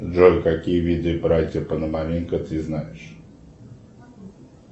джой какие виды братья пономаренко ты знаешь